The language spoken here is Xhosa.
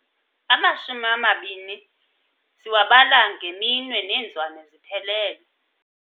Amashumi amabini siwabala ngeminwe neenzwane ziphelele.